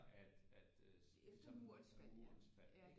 At at øh ligesom murens fald ikke